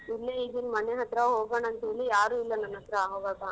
ಇಲ್ಲೇ ಇದೀನ್ ಮನೆ ಹತ್ರ ಹೋಗಣ ಅಂತ್ ಹೇಳಿ ಯಾರು ಇಲ್ಲ ನನ್ ಹತ್ರ ಹೋಗಾಕ.